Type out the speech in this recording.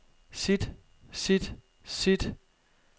sit sit sit